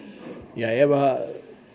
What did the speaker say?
ef